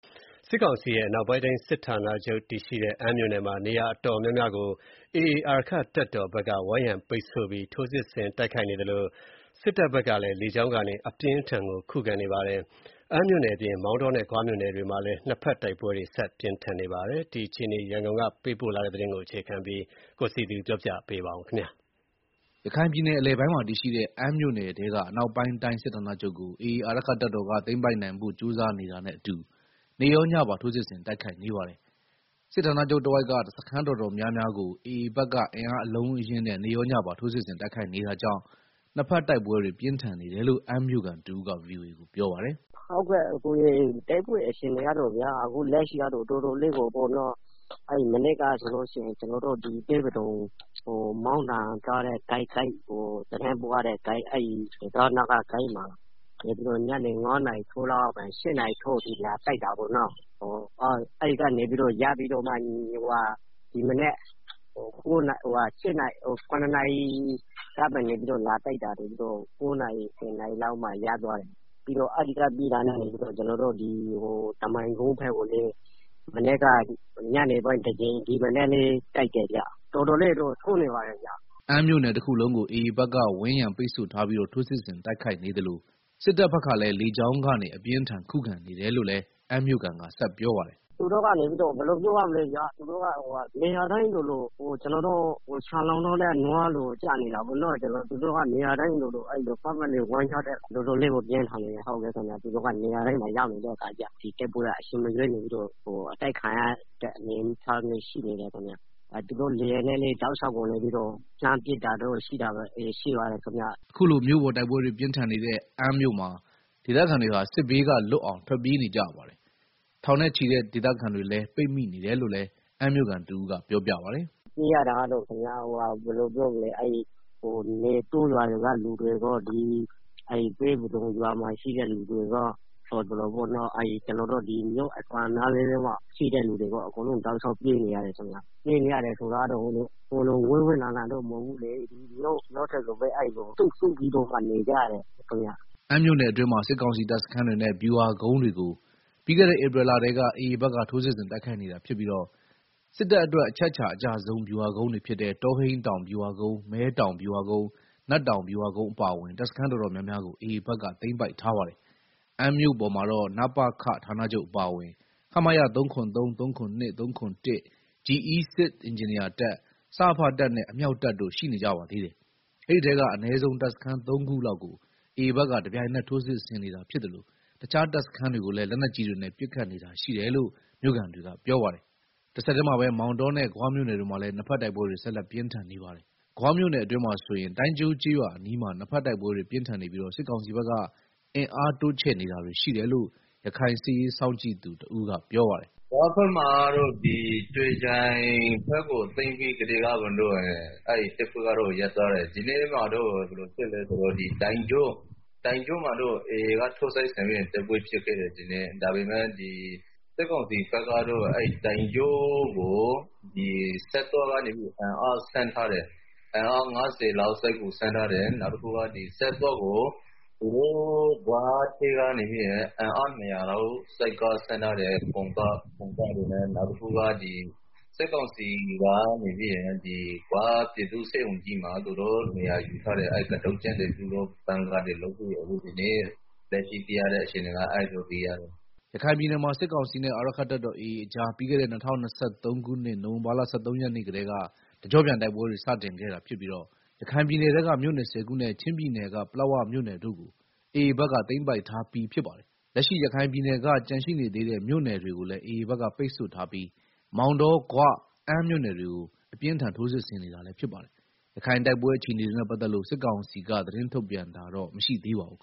စစ်ကောင်စီရဲ့ အနောက်ပိုင်းတိုင်းစစ်ဌာနချုပ် တည်ရှိတဲ့ အမ်းမြို့နယ်မှာ နေရာတော်တော်များများကို AA အာရက္ခတပ်တော် ဘက်က ဝိုင်းရံပိတ်ဆို့ပြီး ထိုးစစ်ဆင်တိုက်ခိုက်နေသလို စစ်တပ်ဘက်ကလည်းလေကြောင်းကနေ အပြင်းအထန်ခုခံနေပါတယ်။ အမ်းမြိုနယ်အပြင် မောင်တောနဲ့ ဂွမြို့နယ်တွေမှာ လည်း ၂ ဘက်တိုက်ပွဲတွေ ဆက်ပြင်းထန်နေပါတယ်။ ရခိုင်စစ်ရေးပဋိပက္ခနောက်ဆုံးအခြေအနေ ရန်ကုန်ကပေးပို့တဲ့သတင်းကို အခြေခံပြီး တင်ပြထားပါတယ်။ ရခိုင်ပြည်နယ် အလယ်ပိုင်းမှာ တည်ရှိတဲ့ အမ်းမြို့နယ်ထဲက အနောက်ပိုင်းတိုင်းစစ်ဌာနချုပ်ကို AA အာရက္ခတပ်တော်က သိမ်းပိုက်နိုင်ဖို့ ကြိုးစားနေတာနဲ့အတူ နေ့ရောညပါ ထိုးစစ်ဆင် တိုက်ခိုက်နေပါတယ်။ စစ်ဌာနချုပ်တဝိုက်က စခန်း တော်တော်များများကို AA ဘက်က အင်အားအလုံးအရင်းနဲ့ နေ့ရောညပါ ထိုးစစ်ဆင်တိုက်ခိုက်နေတာကြောင့် နှစ်ဘက်တိုက်ပွဲတွေ ပြင်းထန်နေတယ်လို့ အမ်းမြို့ခံတဦးက ဗွီအိုအေကို ပြောပါတယ်။ “ တိုက်ပွဲအခြေအနေကတော့ဗျာ တော်တော်ကို ပြင်းထန်နေတာ မနေ့က ဆိုရင်လည်း ပဲပဒုံဂိတ် သတင်းပို့ရတဲ့ ဂိတ်ကို တံတားနားဂိမှာ ညနေ ၅နာရီခွဲလောက်ကနေ ၈နာရီလောက်အထိ လာပြီးတော့ တိုက်တာ အဲဒီမှာ ရပ်ပြီးတော့ ဒီမနက်လည်း ရနာရီကနေ လာတိုက်တာ ၁ဝနာရီလောက်မှ ရပ်သွားတယ်။ အဲဒီကနေ တမိုင်ကုန်းဘက်ကို မနေ့က ညနေပိုင်းတကြိမ် ဒီမနက်လည်းတိုက်တယ်ဗျာ တော်တော်လေးတော့ ထိုးနေပါတယ်ဗျာ။” အမ်းမြို့နယ်တခုလုံးကို AA ဘက်က ဝိုင်းရံပိတ်ဆို့ထားပြီး ထိုးစစ်ဆင်တိုက်နေသလို စစ်တပ်ဘက်ကလည်း လေကြောင်းကနေ အပြင်းအထန် ခုခံနေတယ် လို့လည်း အမ်းမြို့ခံက ဆက်ပြောပါတယ်။ “ သူတို့က နေရာတိုင်းလိုလို ခြံမှာလောင်ထားတဲ့ နွားလိုလိုဖြစ်နေတာပေါ့ သူတို့က ပတ်ပတ်လည် ဝိုင်းထားတဲ့ အခါကျတော့ တော်တော်လေးကို ပြင်းထန်နေတာ၊ နေရာတိုင်းမှာ အချိန်မရွေး အတိုက်ခံနေရတဲ့ အနေအထားရှိနေပါတယ်ခင်ဗျာ။ လေယာဉ်နဲ့လည်း တောက်လျှောက် လှမ်းပစ်တာ တို့ရှိတယ်။” အခုလိုမြို့ပေါ်တိုက်ပွဲတွေ ပြင်းထန်နေတဲ့ အမ်းမှာ ဒေသခံတွေဟာ စစ်ဘေးကလွတ်အောင် ထွက်ပြေး နေကြရပါတယ်။ ထောင်နဲ့ချီတဲ့ဒေသခံတွေလည်း ပိတ်မိနေတယ်လို့လည်း အမ်းမြို့ခံတဦးက ပြောပြပါတယ်။ “ ပြေးရတာကတော့ ဘယ်လိုပြောမလဲ တောရွာတွေက လူတွေရော ပဲပဒုံရွာမှာရှိတဲ့ လူတွေရော မြို့အစွန်းနားတွေမှာရှိတဲ့ လူတွေရော အကုန်လုံးတောက်လျောက်ပြေးနေရ တယ်ခင်ဗျာ။ ပြေးနေရတယ်ဆိုတာကလည်း အဝေးကြီးတော့ မဟုတ်ဘူးလေ မြို့ထဲကိုပဲ စုပြီးတော့ နေကြတာပေါ့။” အမ်းမြို့နယ်အတွင်းမှာ စစ်ကောင်စီတပ်စခန်းတွေနဲ့ ဗျူဟာကုန်းတွေကို ပြီးခဲ့တဲ့ ဧပြီလကတည်းက AA ဘက်က ထိုးစစ်ဆင်တိုက်ခိုက်နေတာဖြစ်ပြီး စစ်တပ်အတွက် အချက်အခြာအကျဆုံး ဗျူဟာကုန်းတွေဖြစ်တဲ့ တောဟိန်းတောင် ဗျူဟာကုန်း၊ မဲတောင် ဗျူဟာကုန်း၊ နတ်တောင် ဗျူဟာကုန်းအပါအဝင် တပ်စခန်းတော်တော်များများကို AA ဘက် သိမ်းပိုက်ထားပါတယ်။ အမ်းမြို့ပေါ်မှာတော့ နပခ ဌာနချုပ်အပါအဝင် ခမရ ၃၇၃၊ ၃၇၂၊ ၃၇၁၊ GE စစ်အင်ဂျင်နီယာတပ်၊ စရဖတပ်နဲ့ အမြောက်တပ်တို့ရှိနေကြပါသေးတယ်။ အဲဒီထဲက အနည်းဆုံး တပ်စခန်း ၃ ခုလောက်ကို AA ဘက်က တပြိုင်နက် ထိုးစစ်ဆင်နေတာဖြစ်သလို တခြားတပ်စခန်း တွေကိုလည်း လက်နက်ကြီးတွေနဲ့ ပစ်ခတ်နေတာရှိတယ်လို့ မြို့ခံတွေကပြောပါတယ်။ တဆက်တည်းမှာပဲ မောင်တောနဲ့ ဂွမြို့နယ်တွေမှာလည်း နှစ်ဘက်တိုက်ပွဲတွေ ဆက်လက်ဖြစ်ပွားနေပါတယ်။ ဂွမြို့နယ်အတွင်းမှာဆိုရင် တိုင်းကျိုးကျေးရွာအနီးမှာ နှစ်ဘက်တိုက်ပွဲ တွေပြင်းထန်နေပြီး စစ်ကောင်စီဘက်က အင်အားတိုးချဲ့ နေတာတွေရှိတယ်လို့ ရခိုင်စစ်ရေးစောင့်ကြည့်နေသူတဦးကပြောပါတယ်။ “ ဂွဘက်မှာတော့ ကြွေချိုင်ဘက်ကို သိမ်းပြီးကတည်းက တိုက်ပွဲက ရပ်သွားတယ်။ ဒီနေ့မှာတော့ ဘယ်လိုဖြစ်လဲဆိုတော့ တိုင်ကျိုးမှာတော့ တိုက်ပွဲဖြစ်ခဲ့တယ်ဒီနေ့။ စစ်ကောင်စီ ဘက်ကတော့ တိုင်းကျိုးကို ဆတ်သွားကနေပြီးတော့ အင်အား ၅ဝလောက်ဆင်းထားတယ်၊ ပြီးတော့ ဆတ်သွားကို အင်အား ၂ဝဝလောက် စစ်ကားတွေ ဆင်းထားတယ်၊ ပြီးတော့ ဂွပြည်သူ့ဆေးရုံကြီးမှာ သူတို့နေရာယူထားတယ်။ ကတုတ်ကျင်းတွေ ဗန်ကာတွေတူး ထားတယ်လို့ သိရတယ်။” ရခိုင်ပြည်နယ်မှာ စစ်ကောင်စီနဲ့ အာရက္ခတပ်တော် AA ကြား ပြီးခဲတဲ့ ၂၀၂၃ခုနှစ် နိုင်ဝင်ဘာလ ၁၃ ရက်နေ့ကတည်း တကျော့ပြန်တိုက်ပွဲတွေ စတင်ခဲ့တာဖြစ်ပြီး ရခိုင်ပြည်နယ်ထဲက မြို့နယ် ၁ဝခုနဲ့ ချင်းပြည်နယ်က ပလက်ဝမြို့နယ်တို့ကို AA ဘက်က သိမ်းပိုက်ထားပြီးဖြစ်ပါတယ်။ လက်ရှိ ရခိုင်ပြည်နယ်က ကျန်ရှိနေသေးတဲ့ မြို့နယ်တွေကိုလည်း AAဘက်က ပိတ်ဆို့ထားပြီး လက်ရှိမှာတော့ မောင်တော ဂွနဲ့ အမ်းမြို့နယ်တွေကို အပြင်းအထန်ထိုးစစ်ဆင်နေတာလည်းဖြစ်ပါတယ်။ ရခိုင်တိုက်ပွဲအခြေအနေတွေနဲ့ပတ်သက်လို့ စစ်ကောင်စီကတော့ သတင်းထုတ်ပြန်တာ မရှိသေးပါဘူး။